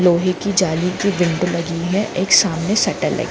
लोहे की जाली की बेल्ट लगी है एक सामने सटल है।